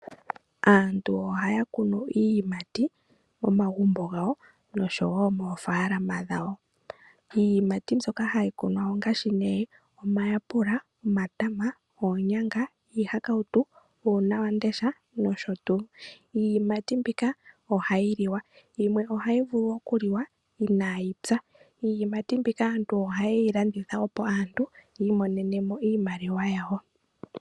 Aantu ohaya kunu iiyimati momagumbo gawo osho wo moofaalama dhawo. Iiyimati mbyoka hayi kunwa ongaashi nee omayapula, omatama, oonyanga, iihakautu, uunawamundesha nosho tuu. Iiyimati mbika ohayi liwa, yimwe ohayi vulu oku liwa inaayi pya. Iiyimati mbika aantu oha yeyi landitha opo aantu yi imonene mo iimaliwa yawo.